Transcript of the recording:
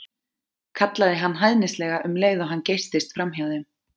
kallaði hann hæðnislega um leið og hann geystist framhjá þeim.